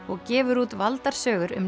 og gefur út valdar sögur um